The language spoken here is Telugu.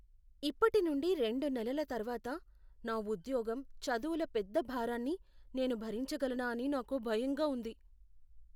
ఇప్పటి నుండి రెండు నెలల తరువాత నా ఉద్యోగం, చదువుల పెద్ద భారాన్ని నేను భరించగలనా అని నాకు భయంగా ఉంది.